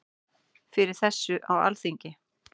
Fyrir þessu á Alþingi.